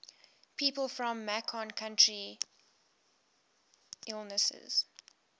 people from macon county illinois